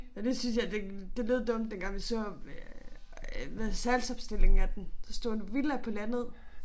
Ja det syntes jeg det det lød dumt dengang vi så øh øh hvad salgsopstillingen af den så stående villa på landet